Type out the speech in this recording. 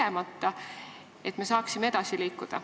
Seda on vaja, et me saaksime edasi liikuda.